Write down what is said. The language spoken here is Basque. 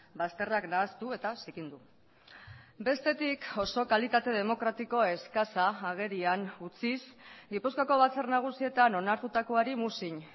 bazterrak nahastu eta zikindu bestetik oso kalitate demokratiko eskasa agerian utziz gipuzkoako batzar nagusietan onartutakoari muzin